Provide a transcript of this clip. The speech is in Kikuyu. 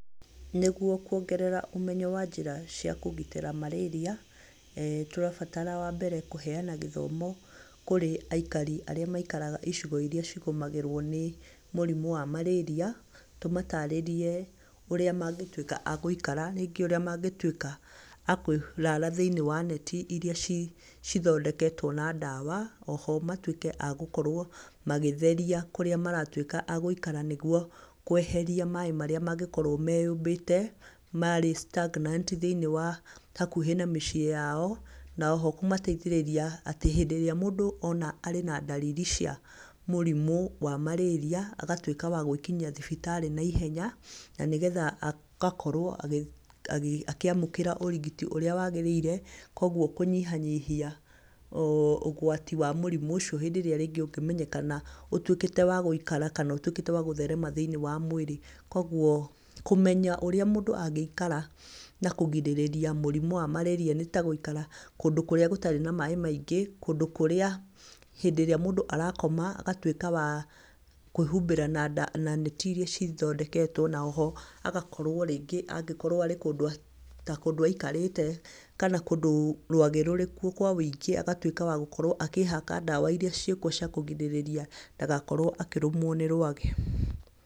Nĩguo kũongerera ũmenyo wa njĩra cia kũgitĩra marĩria, tũrabatara wa mbere kũheana gĩthomo kũrĩ aikari arĩa maikaraga icigo iria cigũmagĩrwo nĩ mũrimũ wa marĩria, tũmatarĩrie ũria mangĩtwĩka a gũikara rĩngĩ ũrĩa mangĩtwĩka a kũrara thĩinĩ wa neti iria cithondeketwo na ndawa. Oho, matwĩke a gũkorwo magĩtheria kũrĩa maratwĩka a gũikara nĩguo kũeheria maaĩ marĩa mangĩkorwo meyũmbite marĩ stagnant thĩinĩ wa hakuhĩ na mĩciĩ yao na oho kũmateithĩrĩria hĩndĩ ĩrĩa mũndũ ona arĩ na ndariri cia mũrimũ wa marĩria agatwĩka wa gwĩkinyia thibitarĩ na ihenya na nĩgetha agakorwo akĩamũkĩra ũrigiti ũrĩa wagĩrĩire kogwo kũnyihianyihia ũgwati wa mũrimũ ũcio hĩndĩ ĩrĩa rĩngĩ ũngĩmenyekana ũtwĩkĩte wa gũikara kana ũtwĩkĩte wa gũtherema thĩinĩ wa mwĩrĩ. Kogwo, kũmenya ũrĩa mũndũ angĩikara na kũgirĩria mũrimũ wa marĩria nĩ ta gũikara kũndũ kũria gũtarĩ na maaĩ maingĩ kũndũ kũrĩa hĩndĩ ĩrĩa mũndũ arakoma agatwĩka wa kwĩhumbĩra na neti iria cithondeketwo na oho agakorwo rĩngĩ angĩkorwo arĩ ta kũndũ aikarĩte kana kũndũ rwagĩ rũrĩ kuo kwa wĩingĩ agatuĩka wa gũkorwo akĩhaka ndawa iria ciĩkuo cia kũgirĩrĩria ndagakorwo akĩrũmwo nĩ rwagĩ.